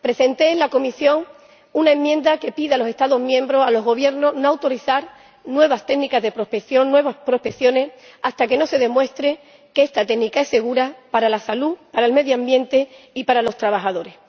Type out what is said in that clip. presenté en la comisión una enmienda que pide a los Estados miembros, a los Gobiernos, no autorizar nuevas técnicas de prospección, nuevas prospecciones, hasta que no se demuestre que esta técnica es segura para la salud, para el medio ambiente y para los trabajadores.